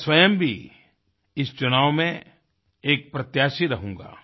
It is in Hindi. मैं स्वयं भी इस चुनाव में एक प्रत्याशी रहूँगा